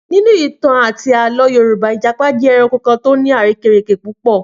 Nínú ìtàn àti àlọ́ Yorùbá, Ìjàpá jẹ́ ẹranko tó ní àrékérekè púpọ̀